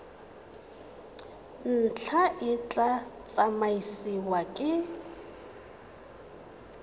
ntlha e tla tsamaisiwa ke